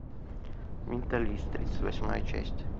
менталист тридцать восьмая часть